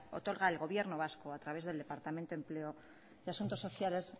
otorga el gobierno vasco a través del departamento de empleo de asuntos sociales